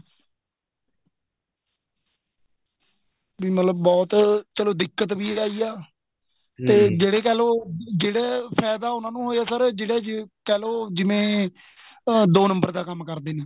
ਵੀ ਮਤਲਬ ਬਹੁਤ ਚਲੋਂ ਦਿੱਕਤ ਵੀ ਆਈ ਏ ਜਿਹੜੇ ਕਹਿਲੋ ਜਿਹੜੇ ਫਾਇਦਾ ਉਹਨਾ ਦਾ ਹੋਇਆ sir ਜਿਹੜਾ ਕਹਿਲੋ ਜਿਵੇਂ ਅਹ ਦੋ ਨੰਬਰ ਦਾ ਕੰਮ ਕਰਦੇ ਨੇ